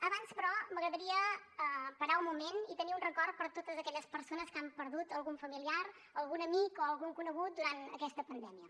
abans però m’agradaria parar un moment i tenir un record per totes aquelles persones que han perdut algun familiar algun amic o algun conegut durant aquesta pandèmia